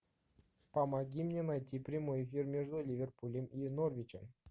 помоги мне найти прямой эфир между ливерпулем и норвичем